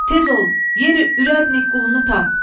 Tez ol, yeri ürədnık qulunu tap.